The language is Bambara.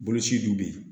Boloci dun bɛ yen